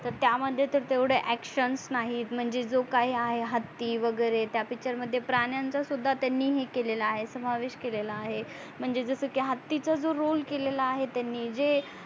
तर त्या मध्ये तर तेवडे action नाही म्हणजे जो काही आहे हत्ती वगेरे त्या picture मध्ये त्यांनी प्रणायच्या सुद्धा त्यांनी हे केलेला आहे समावेश केलेला आहे म्हणजे जस की हत्तीचा जो roll केलेल्या आहे त्यांनी जे